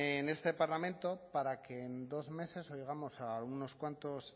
en este parlamento para que en dos meses oigamos a algunos cuantos